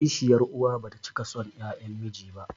Kishiyar uwa bata cika son 'ƴaƴan miji ba